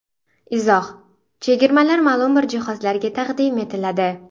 Izoh: Chegirmalar ma’lum bir jihozlarga taqdim etiladi.